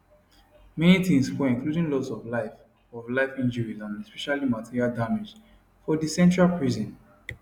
many tins spoil including loss of life of life injuries and especially material damage for di central prison